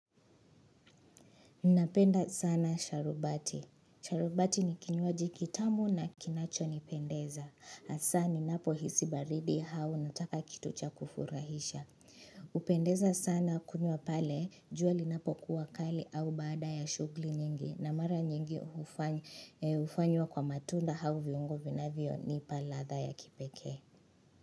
Napenda sana sharubati, sharubati ni kinywaji kitamu na kinacho nipendeza, hasa ninapo hisi baridi au nataka kitu cha kufurahisha hupendeza sana kunywa pale, jua linapokuwa kali au baada ya shughuli nyingi na mara nyingi hufanywa kwa matunda au viungo vinavyonipa ladha ya kipekee.